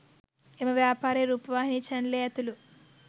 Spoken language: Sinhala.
එම ව්‍යාපාරයේ රූපවාහිනී චැනලය ඇතුළු